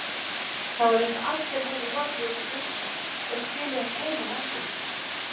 Það var eins og allir hefðu horfið út í buskann og skilið hann einan eftir.